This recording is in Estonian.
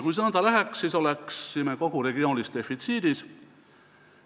Kui see nõnda läheks, siis oleksime kogu regiooniga defitsiidis.